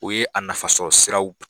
U ye a nafasɔrɔ siraw